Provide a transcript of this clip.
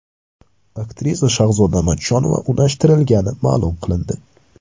Aktrisa Shahzoda Matchonova unashtirilgani ma’lum qilindi.